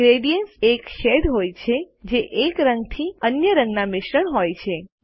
gradients એક shades હોય છે જે એક રંગ થી અન્ય રંગના મિશ્રણ હોય છે